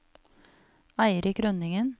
Eirik Rønningen